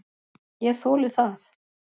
Ég þoli það.